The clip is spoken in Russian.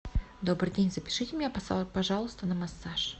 добрый день запишите меня пожалуйста на массаж